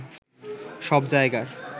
সব জায়গার